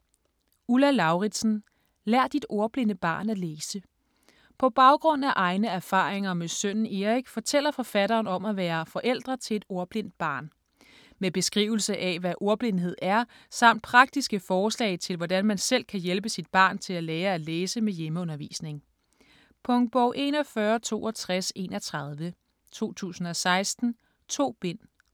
Lauridsen, Ulla: Lær dit ordblinde barn at læse På baggrund af egne erfaringer med sønnen Erik fortæller forfatteren om at være forældre til et ordblindt barn. Med beskrivelse af hvad ordblindhed er, samt praktiske forslag til hvordan man selv kan hjælpe sit barn til at lære at læse med hjemmeundervisning. Punktbog 416231 2016. 2 bind.